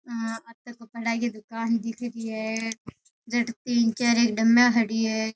अटे कपडा की दूकान दीखे री है जत तीन चार डाम्मिया खड़ी है।